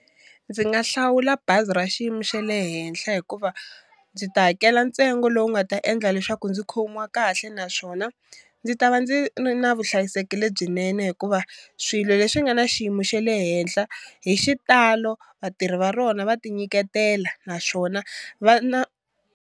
Ndzi nga hlawula bazi ra xiyimo xe le henhla hikuva ndzi ta hakela ntsengo lowu nga ta endla leswaku ndzi khomiwa kahle naswona ndzi ta va ndzi ri na vuhlayiseki lebyinene hikuva swilo leswi nga na xiyimo xa le henhla hi xitalo vatirhi va rona va ti nyiketela naswona va na.